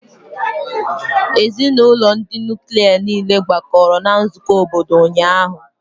Ezinụlọ ndị nuklia niile gbakọrọ na nzukọ obodo ụnyaahụ